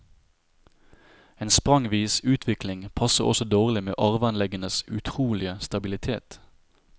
En sprangvis utvikling passer også dårlig med arveanleggenes utrolige stabilitet.